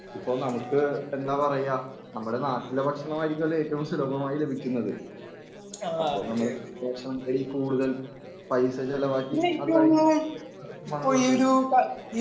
ഇപ്പോ നമുക്ക് എന്താ പറയുക നമ്മുടെ നാട്ടിലെ ഭക്ഷണമായിരിക്കുമല്ലോ ഏറ്റവും സുലഭമായി ലഭിക്കുന്നത്. അപ്പോ നമ്മൾ ഭക്ഷണങ്ങളിൽ കൂടുതൽ പൈസ ചിലവാക്കി